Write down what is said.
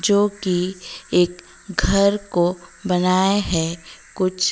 जो कि एक घर को बनाये है कुछ--